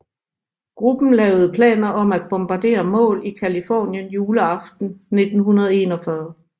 Gruppen lavede planer om at bombardere mål i Californien juleaften 1941